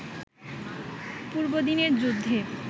পূর্বদিনের যুদ্ধে